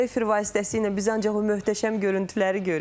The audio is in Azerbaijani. Bunu efir vasitəsilə biz ancaq o möhtəşəm görüntüləri görürük.